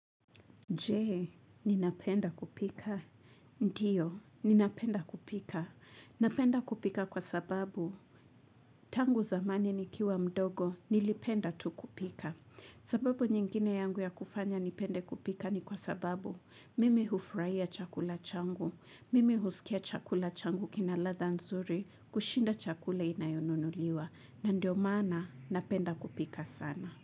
Je, ninapenda kupika. Ndiyo, ninapenda kupika. Napenda kupika kwa sababu, tangu zamani nikiwa mdogo, nilipenda tu kupika. Sababu nyingine yangu ya kufanya nipende kupika ni kwa sababu, mimi hufuraia chakula changu, mimi husikia chakula changu kina latha nzuri, kushinda chakula inayonunuliwa. Na ndio maana, napenda kupika sana.